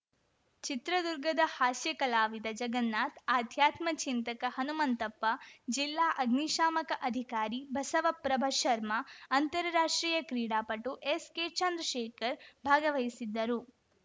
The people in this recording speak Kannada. ಚಿತ್ರದುರ್ಗದ ಹಾಸ್ಯ ಕಲಾವಿದ ಜಗನ್ನಾಥ್‌ ಅಧ್ಯಾತ್ಮ ಚಿಂತಕ ಹನುಮಂತಪ್ಪ ಜಿಲ್ಲಾ ಅಗ್ನಿಶಾಮಕ ಅಧಿಕಾರಿ ಬಸವಪ್ರಭ ಶರ್ಮ ಅಂತರ ರಾಷ್ಟ್ರೀಯ ಕ್ರೀಡಾಪಟು ಎಸ್‌ಕೆ ಚಂದ್ರಶೇಖರ್‌ ಭಾಗವಹಿಸಿದ್ದರು